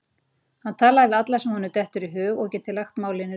Hann talar við alla sem honum dettur í hug að geti lagt málinu lið.